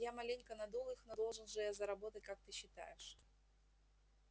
я маленько надул их но должен же я заработать как ты считаешь